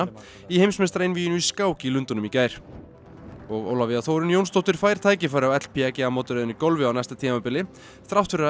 í heimsmeistaraeinvíginu í skák í Lundúnum í gær og Ólafía Þórunn Jónsdóttir fær tækifæri á mótaröðinni í golfi á næsta tímabili þrátt fyrir að